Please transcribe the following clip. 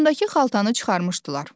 Boynundakı xaltanı çıxarmışdılar.